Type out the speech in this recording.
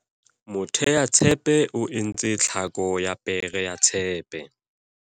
moteatshepe o entse tlhako ya pere ya tshepe